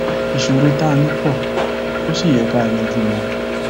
ìṣòro tá a ní pó ò sì yẹ ká yanjú wọn